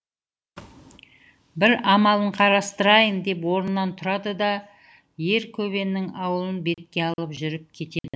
бір амалын қарастырайын деп орнынан тұрады да ер көбеннің ауылын бетке алып жүріп кетеді